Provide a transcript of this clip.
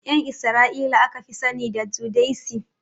Ƴan isra'ila aka fi sani da judaism